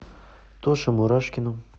тоше мурашкину